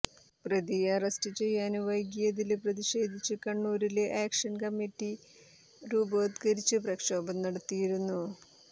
പ്രതിയെ അറസ്റ്റ് ചെയ്യാന് വൈകിയതില് പ്രതിഷേധിച്ച് കണ്ണൂരില് ആക്ഷന് കമ്മിറ്റി രൂപവത്കരിച്ച് പ്രക്ഷോഭം നടത്തിയിരുന്നു